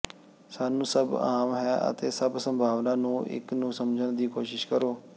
ਸਾਨੂੰ ਸਭ ਆਮ ਹੈ ਅਤੇ ਸਭ ਸੰਭਾਵਨਾ ਨੂੰ ਇੱਕ ਨੂੰ ਸਮਝਣ ਦੀ ਕੋਸ਼ਿਸ਼ ਕਰੋ